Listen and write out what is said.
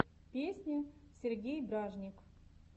песня сергей бражник